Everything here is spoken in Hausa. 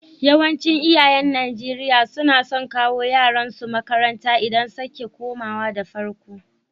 Yawancin iyayen Nijeriya na son kawo yaran su makaranta idan sake komawa da farko.